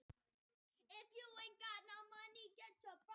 Eina skýringin á nafninu er sú að núverandi Héraðsvötn hafi heitið Blanda.